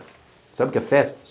Sabe o que é festa?